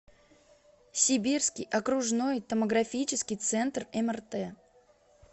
сибирский окружной томографический центр мрт